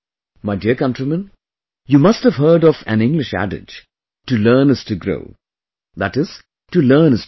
My dear countrymen, you must have heard of an English adage "To learn is to grow" that is to learn is to progress